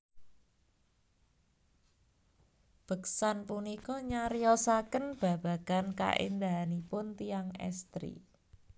Beksan punika nyariosaken babagan kaendahanipun tiyang estri